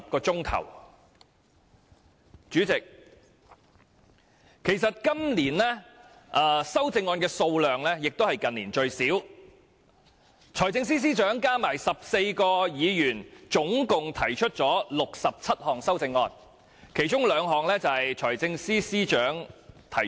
代理主席，其實今年的修正案數量亦是近年最少，財政司司長加上14位議員合共提出了67項修正案，其中兩項由財政司司長提出。